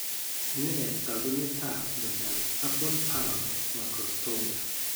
Nee taakunetaab myondap Ablepharon mascrostomia?